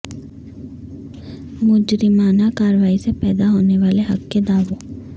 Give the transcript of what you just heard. مجرمانہ کارروائی سے پیدا ہونے والے حق کے دعووں